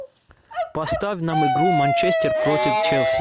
поставь нам игру манчестер против челси